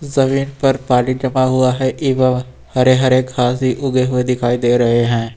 जमीन पर पानी जमा हुआ है इबा हरे हरे घास भी उगे हुए दिखाई दे रहे हैं।